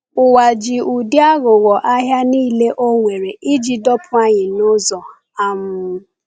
Ụwa ji ụdị aghụghọ ahịa niile o nwere iji dọpụ anyị n’ụzọ. um